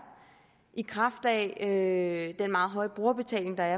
i kraft af den meget høje brugerbetaling der